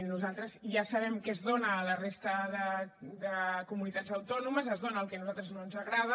nosaltres ja sabem què es dóna a la resta de comunitats autònomes es dóna el que a nosaltres no ens agrada